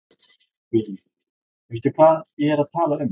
Guðný: Veistu hvað ég er að tala um?